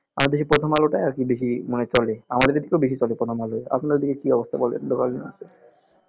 আমাদের এদিকে প্রথম আলোটাই আর কি বেশি মনে হয় চলে আমাদের এদিকেতো বেশি চলে প্রথমআলো আপনার এদিকে কি অবস্থা বলেন